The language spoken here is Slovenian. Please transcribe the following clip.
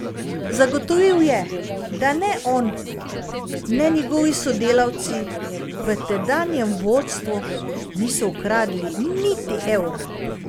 Zagotovil je, da ne on ne njegovi sodelavci v tedanjem vodstvu niso ukradli niti evra.